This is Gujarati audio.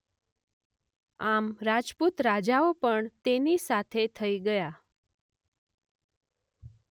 આમ રાજપૂત રાજાઓ પણ તેની સાથે થઈ ગયા.